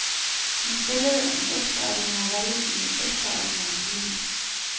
Hun spillede en ekstraordinær rolle i en ekstraordinær familie.